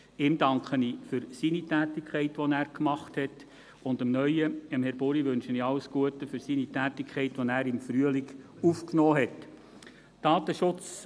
Ihm danke ich für seine Tätigkeit, und dem neuen Datenschutzbeauftragten, Herrn Buri, wünsche ich alles Gute für seine Tätigkeit, die er im Frühjahr aufgenommen hat.